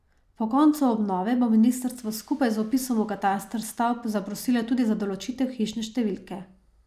Po koncu obnove bo ministrstvo skupaj z vpisom v kataster stavb zaprosilo tudi za določitev hišne številke.